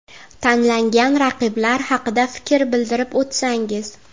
Tanlangan raqiblar haqida fikr bildirib o‘tsangiz.